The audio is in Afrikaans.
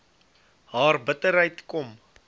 haar bitterheid kom